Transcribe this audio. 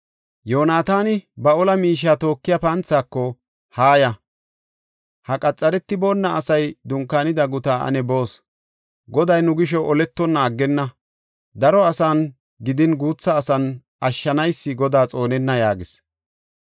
Yoonataani ba ola miishiya tookiya panthaako, “Haaya; ha qaxaretiboona asay dunkaanida gutaa ane boos. Goday nu gisho oletonna aggenna; daro asan gidin guutha asan, ashshanaysi Godaa xoonenna” yaagis.